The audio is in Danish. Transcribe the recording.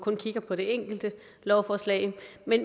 lovforslaget